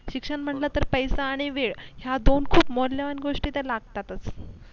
शिक्षण म्हटलं तर पैसा आणि वेळ ह्या दोन खूप मौल्यवान गोष्टी लागतातच